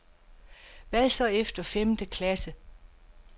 Hvad så efter femte klasse?